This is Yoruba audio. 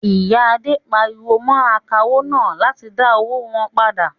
Ìyà Adé pariwo mọ́ akawó náà láti dá owó wọn padà.